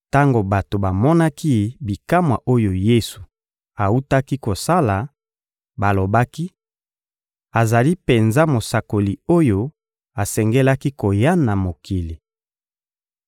Tango bato bamonaki bikamwa oyo Yesu awutaki kosala, balobaki: «Azali penza Mosakoli oyo asengelaki koya na mokili.»